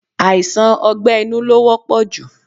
Aisan ọgbẹ́ inú lo wọ́pọ̀ ju